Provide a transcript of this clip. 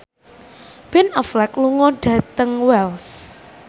Ben Affleck lunga dhateng Wells